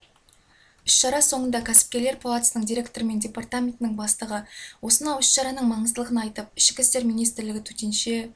іс-шара соңында кәсіпкерлер палатасының директоры мен департаментінің бастығы осынау іс-шараныңің маңыздылығын айтып ішкі істер министрлігі төтенше